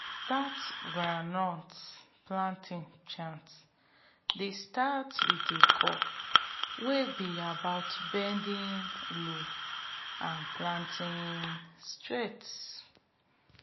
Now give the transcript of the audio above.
dat groundnut planting chant dey start wit a call wey be about bending low and planting straight